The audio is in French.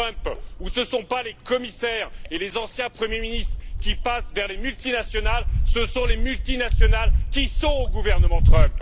Trump, où ce ne sont pas les commissaires et les anciens Premiers ministres qui passent vers les multinationales, mais les multinationales qui sont au gouvernement Trump.